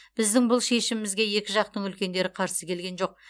біздің бұл шешімімізге екі жақтың үлкендері қарсы келген жоқ